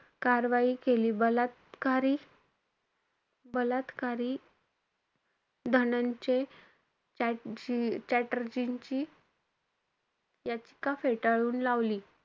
कारवाई केली. बलात्कारी बलात्कारी धनंजय चट्टेर्जींची याचिका फेटाळून लावली.